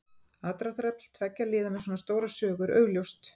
Aðdráttarafl tveggja liða með svona stóra sögu er augljóst.